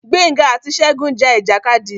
Gbénga àti Ṣegún ja ìjàkadì.